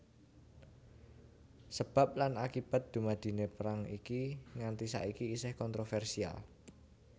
Sebab lan akibat dumadiné perang iki nganti saiki isih kontrovèrsial